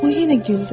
O yenə güldü.